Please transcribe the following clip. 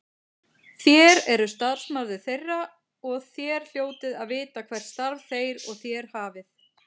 Þér eruð starfsmaður þeirra og þér hljótið að vita hvert starf þeir og þér hafið.